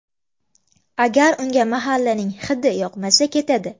Agar unga mahallaning ‘hidi’ yoqmasa, ketadi.